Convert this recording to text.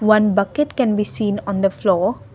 one bucket can be seen on the floor.